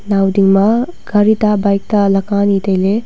nao ding ma gari ta bike ta laka anyi taile.